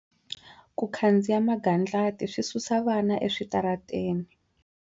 Ku khandziya magandlati swi susa vana eswitarateni.